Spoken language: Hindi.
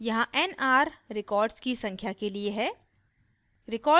यहाँ nr records की संख्या के लिए है